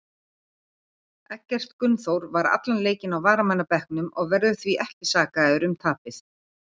Eggert Gunnþór var allan leikinn á varamannabekknum og verður því ekki sakaður um tapið.